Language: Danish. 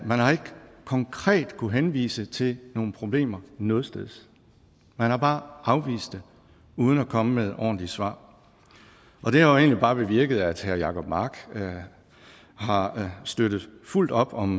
man har ikke konkret kunnet henvise til nogle problemer nogetsteds man har bare afvist det uden at komme med ordentlige svar og det har jo egentlig bare bevirket at herre jacob mark har støttet fuldt op om